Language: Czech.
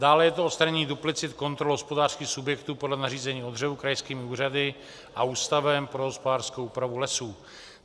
Dále je to odstranění duplicit kontrol hospodářských subjektů podle nařízení o dřevu krajskými úřady a Ústavem pro hospodářskou úpravu lesů.